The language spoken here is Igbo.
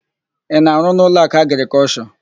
Ị na-arụ n'Ụlọakụ Agrịkọlshọ?